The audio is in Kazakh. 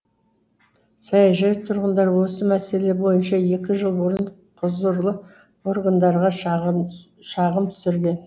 саяжай тұрғындары осы мәселе бойынша екі жыл бұрын құзырлы органдарға шағым түсірген